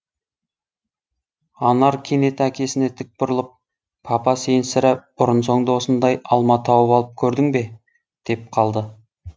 анар кенет әкесіне тік бұрылып папа сен сірә бұрын соңды осындай алма тауып алып көрдің бе деп қалды